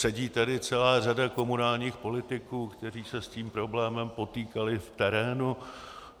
Sedí tady celá řada komunálních politiků, kteří se s tím problémem potýkali v terénu.